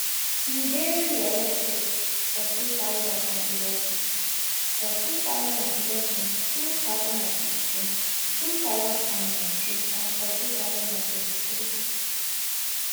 e dey reelected for two thousand and eleven for two thousand and eleven two thousand and fifteen two thousand and nineteen and for two thousand and twenty-three